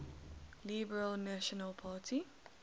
liberal national party